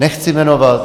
Nechci jmenovat.